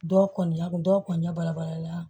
Dɔw kɔni y'a kun dɔw kɔni ɲɛ balabala